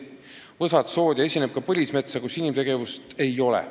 Võsad, sood ja esineb ka põlismetsa, kus inimtegevust ei ole.